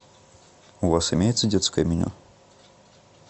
у вас имеется детское меню